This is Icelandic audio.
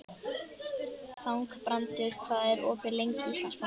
Þangbrandur, hvað er opið lengi í Íslandsbanka?